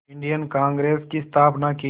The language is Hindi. इंडियन कांग्रेस की स्थापना की